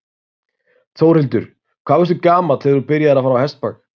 Þórhildur: Hvað varstu gamall þegar þú byrjaðir að fara á hestbak?